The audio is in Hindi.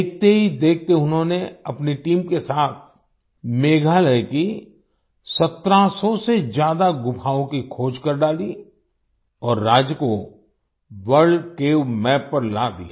देखते ही देखते उन्होंने अपनी टीम के साथ मेघालय की 1700 से ज्यादा गुफाओं की खोज कर डाली और राज्य को वर्ल्ड केव एमएपी पर ला दिया